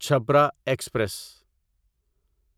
Chhapra express